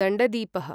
दण्डदीपः